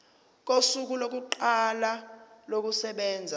kosuku lokuqala kokusebenza